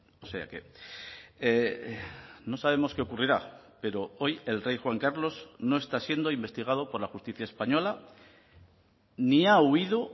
o sea que no sabemos qué ocurrirá pero hoy el rey juan carlos no está siendo investigado por la justicia española ni ha huido